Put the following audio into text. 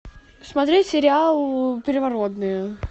смотреть сериал первородные